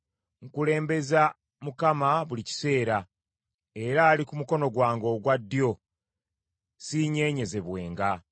Nkulembeza Mukama buli kiseera, era ali ku mukono gwange ogwa ddyo, siinyeenyezebwenga.